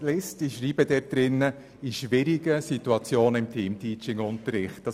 Ich schreibe im Vorstoss, dass in schwierigen Situationen Teamteaching eingesetzt werden soll.